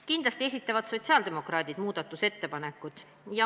Kindlasti esitavad sotsiaaldemokraadid oma muudatusettepanekud.